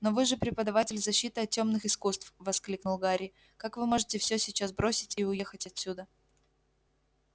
но вы же преподаватель защиты от тёмных искусств воскликнул гарри как вы можете всё сейчас бросить и уехать отсюда